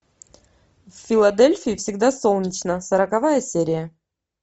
в филадельфии всегда солнечно сороковая серия